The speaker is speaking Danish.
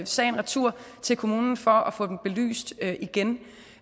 sagen retur til kommunen for at få den belyst igen